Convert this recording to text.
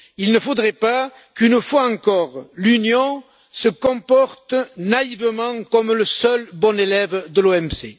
Il ne faudrait pas qu'une fois encore, l'Union se comporte naïvement comme le seul bon élève de l'OMC.